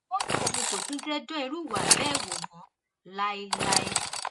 ó ní òun kò tún jẹ dán irú ìwà bẹẹ wò mọ láéláé láéláé